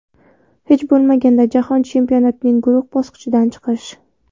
Hech bo‘lmaganda Jahon chempionatining guruh bosqichidan chiqish.